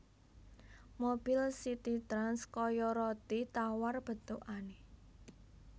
Mobile CitiTrans koyo roti tawar bentukane